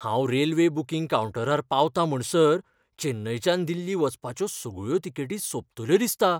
हांव railway booking कावंटरार पावतां म्हणसर चेन्नयच्यान दिल्ली वचपाच्यो सगळ्यो तिकेटी सोंपतल्यो दिसता.